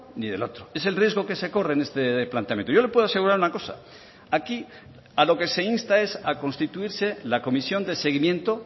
ni del otro es el riesgo que se corre en este planteamiento yo le puedo asegurar una cosa aquí a lo que se insta es a constituirse la comisión de seguimiento